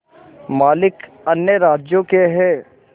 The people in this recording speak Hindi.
मालिक अन्य राज्यों के हैं